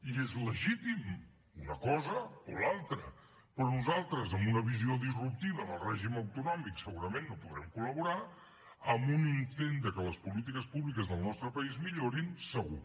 i és legítim una cosa o l’altra però nosaltres en una visió disruptiva del règim autonòmic segurament no podrem col·laborar en un intent que les polítiques públiques del nostre país millorin segur